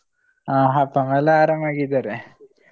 ಹ ಅಪ್ಪ ಅಮ್ಮ ಎಲ್ಲ ಅರಾಮ್ ಆಗಿ ಇದ್ದಾರೆ.